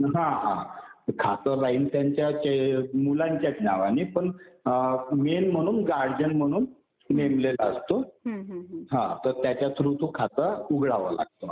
हा हा. खातं राहिल त्यांच्या मुलांच्या नावाने पण मेन म्हणून गार्डियन म्हणून नेमलेला असतो. तर त्याचा थ्रू ते खातं उघडावं लागतं.